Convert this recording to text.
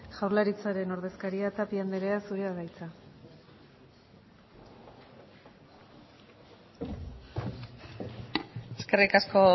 jaurlaritzaren ordezkaria tapia andrea zurea da hitza eskerrik asko